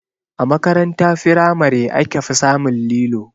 A makaranta firamare aka fi samun lilo